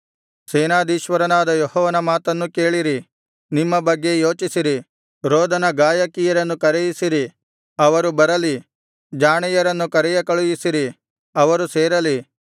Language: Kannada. ಸೇನಾಧೀಶ್ವರನಾದ ಯೆಹೋವನ ಮಾತನ್ನು ಕೇಳಿರಿ ನಿಮ್ಮ ಬಗ್ಗೆ ಯೋಚಿಸಿರಿ ರೋದನ ಗಾಯಕಿಯರನ್ನು ಕರೆಯಿಸಿರಿ ಅವರು ಬರಲಿ ಜಾಣೆಯರನ್ನು ಕರೆಯ ಕಳುಹಿಸಿರಿ ಅವರು ಸೇರಲಿ